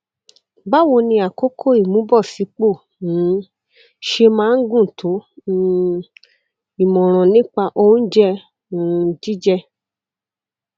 báwo ni àkókò ìmúbọsípò um ṣe máa ń gùn tó um ìmọràn nípa oúnjẹ um jíjẹ